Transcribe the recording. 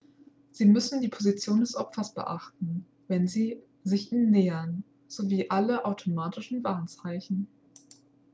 sie müssen die position des opfers beachten wenn sie sich ihm nähern sowie alle automatischen warnzeichen